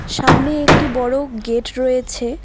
সামনে একটি বড়ো গেট রয়েছে।